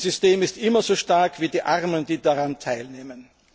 Ein System ist immer so stark wie die Armen, die daran teilnehmen.